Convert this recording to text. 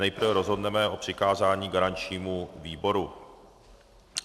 Nejprve rozhodneme o přikázání garančnímu výboru.